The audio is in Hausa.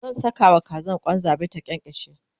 zan Saka wa Kazan Kwan zabi ta kyankyashe